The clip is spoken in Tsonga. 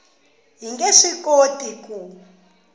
hi nge swi koti ku